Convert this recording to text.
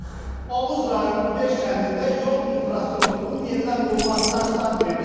Oğuz rayonunun beş kəndində yol infrastrukturunun yenidən qurulmasına start verilib.